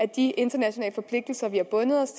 de internationale forpligtelser vi har bundet os